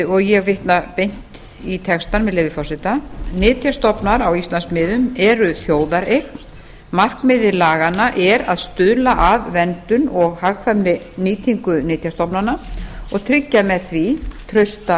og ég vitna beint í textann með leyfi forseta nytjastofnar á íslandsmiðum eru þjóðareign markmið laganna er að stuðla að verndun og hagkvæmri nýtingu nytjastofnanna og tryggja með því trausta